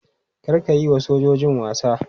Kar ka yi wa sojojin wasa!